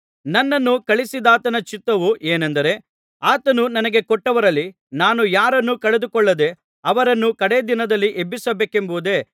ನನ್ನನ್ನು ಕಳುಹಿಸಿದಾತನ ಚಿತ್ತವು ಏನೆಂದರೆ ಆತನು ನನಗೆ ಕೊಟ್ಟವರಲ್ಲಿ ನಾನು ಯಾರನ್ನೂ ಕಳೆದುಕೊಳ್ಳದೆ ಅವರನ್ನು ಕಡೆ ದಿನದಲ್ಲಿ ಎಬ್ಬಿಸಬೇಕೆಂಬುದೇ